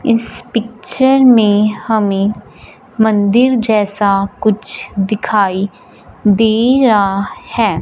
इस पिक्चर में हमें मंदिर जैसा कुछ दिखाई दे रहा है।